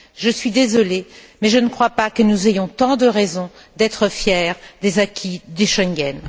Je suis désolée, mais je ne crois pas que nous ayons tant de raisons d'être fiers des acquis de Schengen.